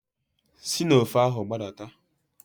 Si n'ofe ahụ gbadata.